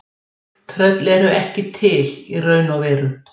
Tröll eru ekki til í raun og veru.